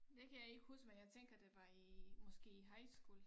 Det kan jeg ikke huske men jeg tænker det var i måske i high school